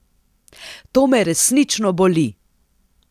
To me resnično boli!